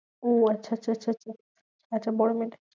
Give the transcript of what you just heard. ও আচ্ছা আচ্ছা আচ্ছা আচ্ছা, আচ্ছা বড়ো মেয়েটা?